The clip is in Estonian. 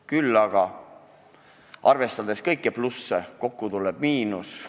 Küll aga arvestades kõiki plusse, tuleb kokku miinus.